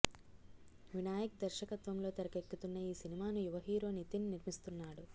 వినాయక్ దర్శకత్వంలో తెరకెక్కుతున్న ఈ సినిమాను యువ హీరో నితిన్ నిర్మిస్తున్నాడు